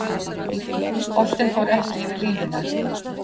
Boltinn fór ekki yfir línuna